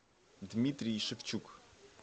дмитрий шевчук